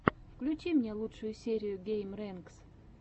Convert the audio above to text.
включи мне лучшую серию геймрэнкс